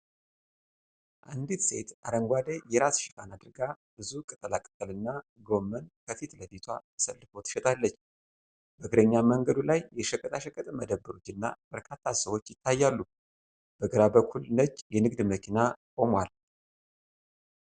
አንዲት ሴት አረንጓዴ የራስ ሸፋን አድርጋ፣ ብዙ ቅጠላ ቅጠልና ጎመን ከፊት ለፊቷ ተሰልፎ ትሸጣለች። በእግረኛ መንገዱ ላይ የሸቀጣሸቀጥ መደብሮችና፣ በርካታ ሰዎች ይታያሉ። በግራ በኩል ነጭ የንግድ መኪና ቆሟል።